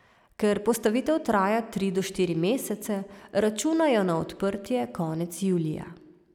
Ker postavitev traja tri do štiri mesece, računajo na odprtje konec julija.